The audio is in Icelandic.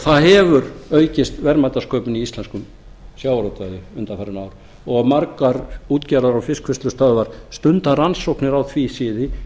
það hefur aukist verðmætasköpun í íslenskum sjávarútvegi undanfarin ár og margar útgerðar og fiskvinnslustöðvar stunda rannsóknir á því sviði